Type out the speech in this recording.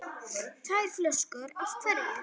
Tvær flöskur af hverju.